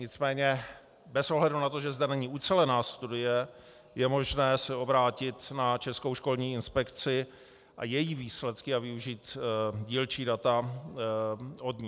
Nicméně bez ohledu na to, že zde není ucelená studie, je možné se obrátit na Českou školní inspekci a její výsledky a využít dílčí data od ní.